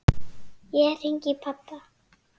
Ég hringi í pabba.